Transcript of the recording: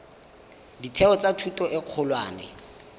ditheo tsa thuto e kgolwane